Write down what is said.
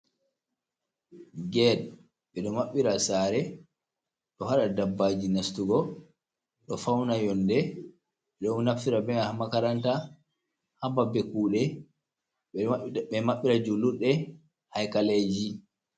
Get ɓedo mabɓira sare, ɗohada dabbaji nastugo do fauna yonde, ɓedo naftira ha makaranta haɓaɓe kude ɓedo mabbira julurde haikaleji.